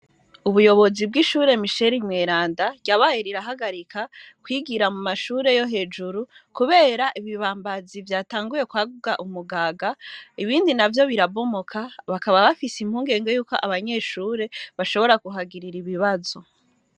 Ubuyobozi bw'ishure Misheri Mweranda, ryabaye rirahagarika kwigira mumashure yo hejuru kubera ibibambazi vyatanguye kwaguka umugaga, ibindi navyo birabomoka, bakaba bafise impungenge yuko abanyeshure bashobora kuhagirira ibibazo.